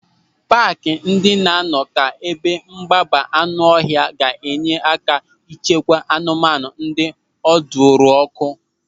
Paaki ndị na-anọ ka ebe mgbaba anụ ọhịa ga-enye aka ịchekwa anụmanụ ndị ọdụrụkọ.